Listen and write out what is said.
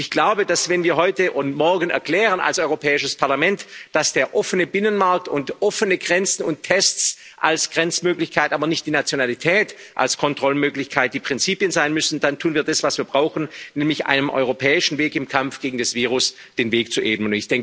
Ich glaube, dass, wenn wir heute und morgen als Europäisches Parlament erklären, dass der offene Binnenmarkt und offene Grenzen und Tests als Grenzmöglichkeit, aber nicht die Nationalität als Kontrollmöglichkeit die Prinzipien sein müssen, dann tun wir das, was wir brauchen, nämlich einem europäischen Weg im Kampf gegen das Virus den Weg zu ebnen.